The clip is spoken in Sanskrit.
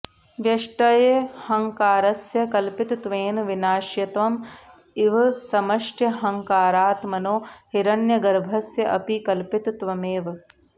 व्यष्ट्यहङ्कारस्य कल्पितत्वेन विनाश्यत्वं इव समष्ट्यहङ्कारात्मनो हिरण्यगर्भस्य अपि कल्पितत्वमेव